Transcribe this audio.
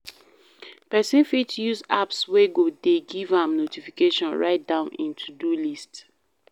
Person fit use apps wey go dey give am notification write down im to-do list